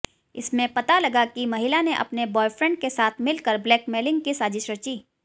इसमें पता लगा कि महिला ने अपने बॉयफ्रेंड के साथ मिलकर ब्लैकमेलिंग की साजिश रची